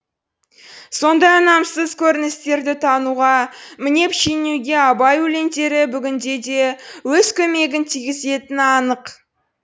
сондай ұнамсыз көріністерді тануға мінеп шенеуге абай өлеңдері бүгінде де өз көмегін тигізетіні анық